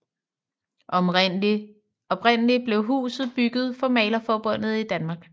Oprindeligt blev huset bygget for Malerforbundet i Danmark